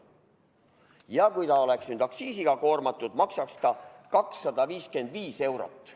Ja kui see oleks aktsiisiga koormatud, maksaks see 255 eurot.